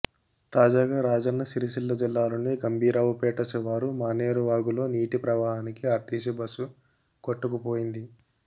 తాజాగా రాజన్న సిరిసిల్ల జిల్లాలోని గంభీరావుపేట శివారు మానేరు వాగులో నీటి ప్రవాహానికి ఆర్టీసీ బస్సు కొట్టుకుపోయింది